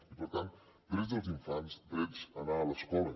i per tant drets dels infants dret d’anar a l’escola